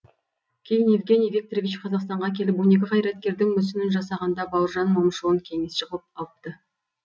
кейін евгений викторович қазақстанға келіп он екі қайраткердің мүсінін жасағанда бауыржан момышұлын кеңесші қылып алыпты